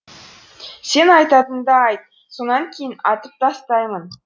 сен айтатыныңды айт сонан кейін атып тастаймын